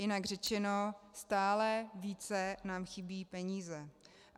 Jinak řečeno stále více nám chybí peníze.